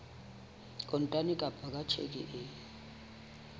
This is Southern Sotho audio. kontane kapa ka tjheke e